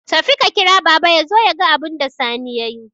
Tafi ka kira baba yazo yaga abunda Sani yayi